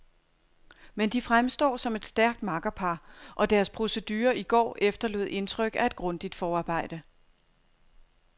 Men de fremstår som et stærkt makkerpar, og deres procedure i går efterlod indtryk af et grundigt forarbejde.